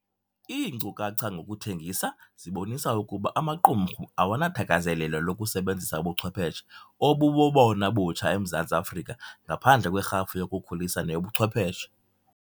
Iinkcukacha ngokuthengisa zibonisa ukuba amaqumrhu awanathakazelelo lokusebenzisa ubuchwepheshe obubobona butsha eMzantsi Afrika ngaphandle kwerhafu yokukhulisa neyobuchwepheshe.